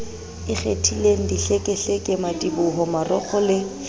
ikgethileng dihlekehleke madiboho marokgo le